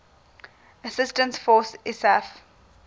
assistance force isaf